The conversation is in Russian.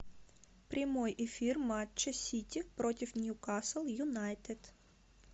прямой эфир матча сити против ньюкасл юнайтед